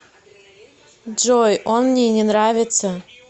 джой он мне не нравится